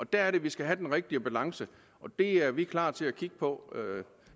der er det vi skal have den rigtige balance og det er vi klar til at kigge på